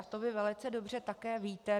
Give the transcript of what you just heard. A to vy velice dobře také víte.